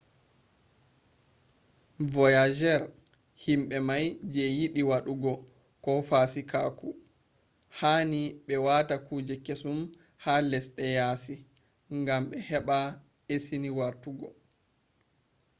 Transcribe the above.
voyagers himbe mai je yidi wadu go fasikaku hani be wata kuje kesum ha lesde yasi gambe heba esini wartu go